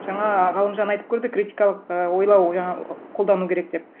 жаңа ғалымжан айтып көрді критикалық і ойлау жаңа қолдану керек деп